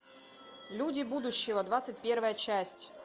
люди будущего двадцать первая часть